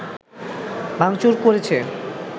ভাংচুর করেছে